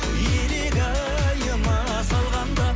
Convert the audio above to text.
илигайыма салғанда